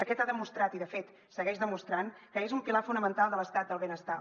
aquest ha demostrat i de fet segueix demostrant que és un pilar fonamental de l’estat del benestar